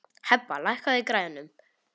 Hebba, lækkaðu í græjunum.